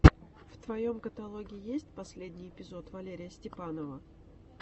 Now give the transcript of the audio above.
в твоем каталоге есть последний эпизод валерия степанова